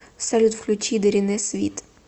салют включи дэринэ свит